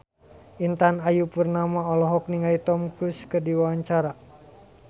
Intan Ayu Purnama olohok ningali Tom Cruise keur diwawancara